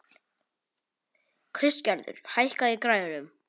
Kristgerður, hækkaðu í græjunum.